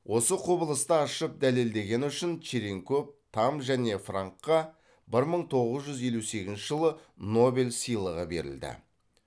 осы құбылысты ашып дәлелдегені үшін черенков тамм және франкқа бір мың тоғыз жүз елу сегізінші жылы нобель сыйлығы берілді